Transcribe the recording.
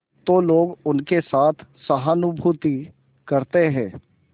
तो लोग उनके साथ सहानुभूति करते हैं